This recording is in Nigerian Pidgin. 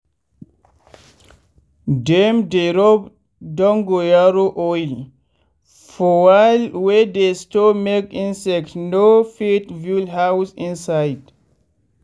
dem dey rub dongoyaro oil for wall wey dey store make insect no fit build house inside.